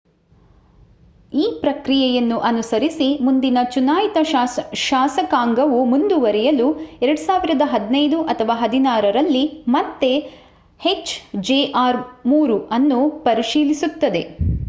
ಈ ಪ್ರಕ್ರಿಯೆಯನ್ನು ಅನುಸರಿಸಿ ಮುಂದಿನ ಚುನಾಯಿತ ಶಾಸಕಾಂಗವು ಮುಂದುವರಿಯಲು 2015 ಅಥವಾ 2016 ರಲ್ಲಿ ಮತ್ತೆ ಎಚ್‌ಜೆಆರ್ -3 ಅನ್ನು ಪರಿಶೀಲಿಸುತ್ತದೆ